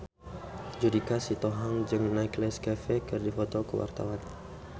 Judika Sitohang jeung Nicholas Cafe keur dipoto ku wartawan